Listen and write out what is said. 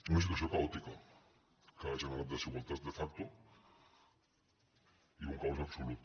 una situació caòtica que ha generat desigualtat de factoi un caos absolut